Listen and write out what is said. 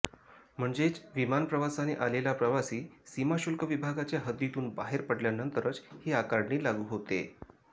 म्हणजेच विमान प्रवासाने आलेला प्रवासी सीमाशुल्क विभागाच्या हद्दीतून बाहेर पडल्यानंतरच ही आकारणी लागू होते